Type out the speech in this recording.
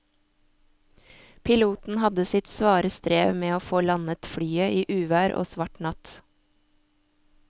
Piloten hadde sitt svare strev med å få landet flyet i uvær og svart natt.